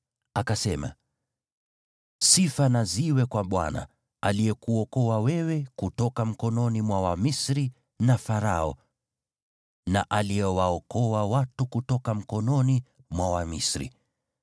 Yethro akasema, “Sifa na ziwe kwa Bwana , aliyekuokoa wewe kutoka mikononi mwa Wamisri na Farao, na aliyewaokoa watu kutoka mikononi mwa Wamisri.